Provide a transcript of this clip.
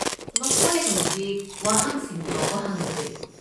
ꯃꯈꯣꯏ ꯍꯧꯖꯤꯛ ꯋꯥꯍꯪꯁꯤꯡ ꯐꯥꯎꯕ ꯍꯪꯗ꯭ꯔꯦ꯫